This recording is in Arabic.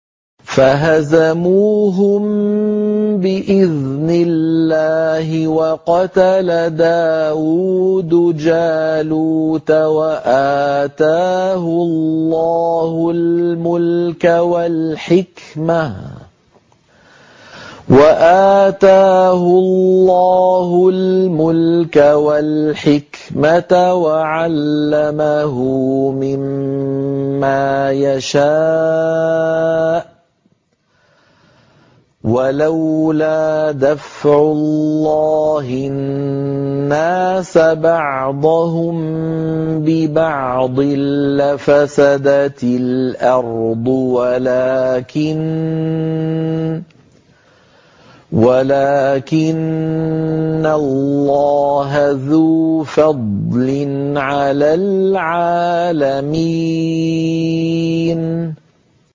فَهَزَمُوهُم بِإِذْنِ اللَّهِ وَقَتَلَ دَاوُودُ جَالُوتَ وَآتَاهُ اللَّهُ الْمُلْكَ وَالْحِكْمَةَ وَعَلَّمَهُ مِمَّا يَشَاءُ ۗ وَلَوْلَا دَفْعُ اللَّهِ النَّاسَ بَعْضَهُم بِبَعْضٍ لَّفَسَدَتِ الْأَرْضُ وَلَٰكِنَّ اللَّهَ ذُو فَضْلٍ عَلَى الْعَالَمِينَ